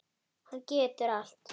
Hann getur allt.